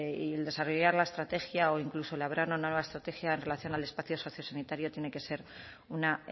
y el desarrollar la estrategia o incluso elaborar una nueva estrategia en relación al espacio sociosanitario tiene que ser una